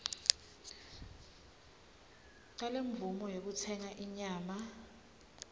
talemvumo yekutsenga inyama